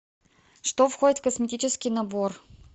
что входит в косметический набор